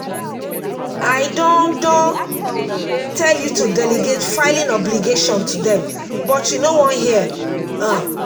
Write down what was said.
i don don tell you to delegate filing obligation to dem but you no wan hear um